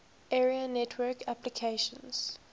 area network applications